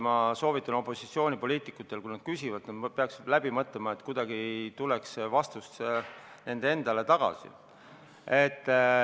Ma soovitan opositsioonipoliitikutele, et kui nad midagi küsivad, siis nad küsimuse alati läbi mõtleksid, et vastus ei tuleks kuidagi nendele endale tagasi.